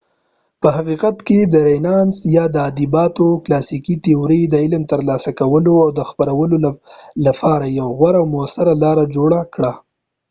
په حقیقت کې رینانس یا د ادبیاتو کلاسیکي تیورۍ د علم ترلاسه کولو او خپرولو لپاره یو غوره او مؤثره لار جوړه کړه